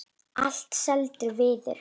Allt seldur viður.